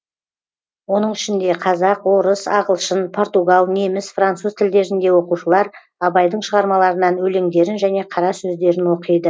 оның ішінде қазақ орыс ағылшын португал неміс француз тілдерінде оқушылар абайдың шығармаларынан өлеңдерін және қара сөздерін оқиды